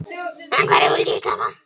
En hverju vildi ég sleppa?